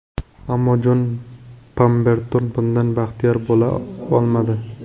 Ammo Jon Pamberton bundan baxtiyor bo‘la olmadi.